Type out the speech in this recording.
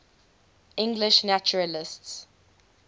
english naturalists